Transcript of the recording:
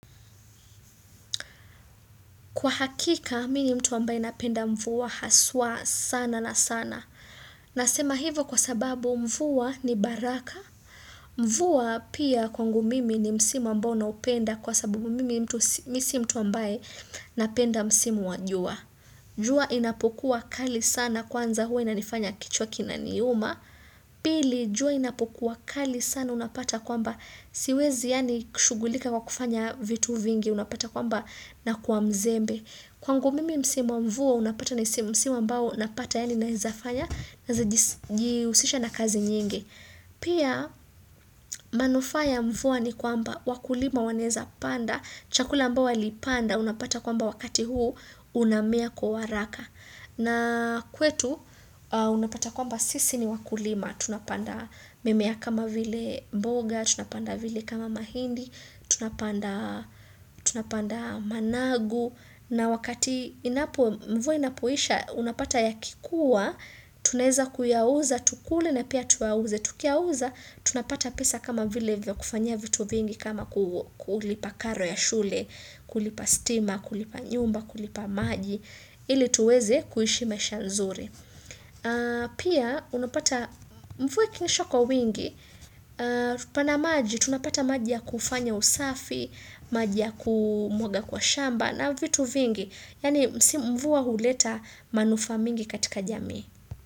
Kwa hakika, mimi mtu ambaye napenda mvua haswa sana na sana. Nasema hivo kwa sababu mvua ni baraka. Mvua pia kwangu mimi ni msimu ambao naupenda kwa sababu mimi mi si mtu ambaye napenda msimu wa jua. Jua inapokuwa kali sana kwanza huwa inanifanya kichwa kinaniuma. Pili jua inapokuwa kali sana unapata kwamba siwezi yaani kushughulika kwa kufanya vitu vingi unapata kwamba nakuwa mzembe. Kwangu mimi msimu wa mvua unapata ni msimu ambao unapata yaani naweza fanya naweza jihusisha na kazi nyingi. Pia manufaa ya mvua ni kwamba wakulima wanaweza panda. Chakula ambayo walipanda unapata kwamba wakati huu unamea kwa waraka. Na kwetu unapata kwamba sisi ni wakulima, tunapanda mimea kama vile mboga, tunapanda vile kama mahindi, tunapanda tunapanda managu, na wakati inapo Mvua inapoisha unapata yakikuwa, tunaweza kuyauza, tukule na pia tuyauze, Tukiyauza, tunapata pesa kama vile vya kufanyia vitu vingi kama kulipa karo ya shule, kulipa stima, kulipa nyumba, kulipa maji. Ili tuweze kuishi maisha nzuri. Pia unapata mvua ikinyesha kwa wingi pana maji, tunapata maji ya kufanya usafi maji ya kumwaga kwa shamba na vitu vingi yaani mvua huleta manufaa mingi katika jamii.